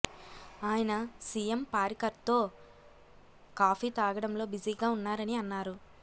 ఆయన సిఎం పారికర్తో కాఫీ తాగడంలో బిజీగా ఉన్నారని అన్నారు